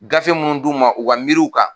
Gafe mun d'u ma u ka miiriw kan.